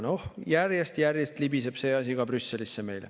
Noh, järjest-järjest libiseb ka see asi meil Brüsselisse.